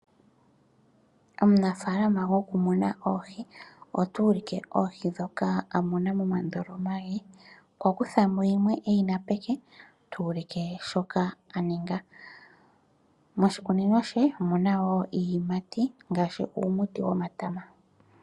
Omunafaalama goku muna oohi, otu ulike oohi ndhoka a muna momandoloma ge. Okwa kutha mo yimwe e yi na peke tu ulike shoka a ninga. Moshikunino she omuna wo iiyimati ngaashi uumuti womatama.